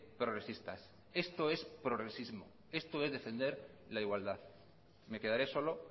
progresistas esto es progresismo esto es defender la igualdad me quedare solo